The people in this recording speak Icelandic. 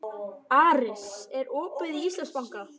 Aris, er opið í Íslandsbanka?